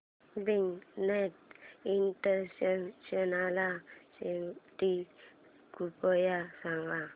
big data international summit कृपया सांगा